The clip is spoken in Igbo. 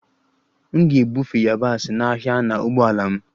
M ga-ebufe yabasị n'ahịa na ụgbọala m